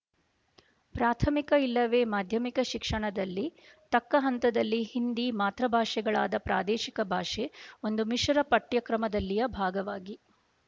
ಪ್ರಾಥಮಿಕ ಇಲ್ಲವೆ ಮಾಧ್ಯಮಿಕ ಶಿಕ್ಷಣದಲ್ಲಿ ತಕ್ಕ ಹಂತದಲ್ಲಿ ಹಿಂದಿ ಮಾತೃಭಾಷೆಗಳಾದ ಪ್ರಾದೇಶಿಕ ಭಾಷೆ ಒಂದು ಮಿಶರ ಪಠ್ಯಕ್ರಮದಲ್ಲಿಯ ಭಾಗವಾಗಿ